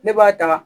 Ne b'a ta wa